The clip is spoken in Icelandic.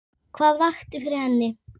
Hvað vakti fyrir henni?